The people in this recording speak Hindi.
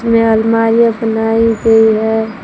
में अलमारियां बनाई गई है।